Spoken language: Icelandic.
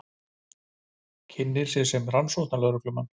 Kynnir sig sem rannsóknarlögreglumann.